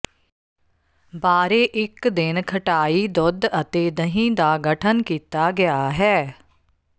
ਬਾਰੇ ਇੱਕ ਦਿਨ ਖਟਾਈ ਦੁੱਧ ਅਤੇ ਦਹ ਦਾ ਗਠਨ ਕੀਤਾ ਗਿਆ ਹੈ